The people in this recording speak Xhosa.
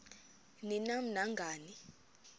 ni nam nangani